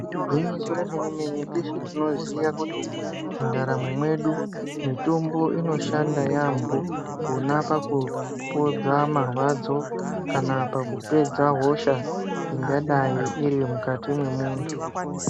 Igwinyiso remenemene, tese tinoziya kuti muntaramo mwedu ,mitombo inoshanda yaambo pona pakupodza marwadzo kana pakupedza hosha ingadai irimukati mwemuntu.